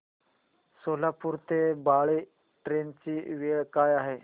सोलापूर ते बाळे ट्रेन ची वेळ काय आहे